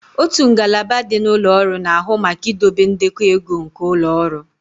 Otu ngalaba dị na ụlọ ọrụ na-ahụ maka idobe ndekọ ego nke ụlọ ọrụ